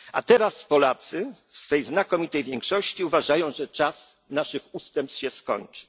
Unii spór. A teraz Polacy w swej znakomitej większości uważają, że czas naszych ustępstw się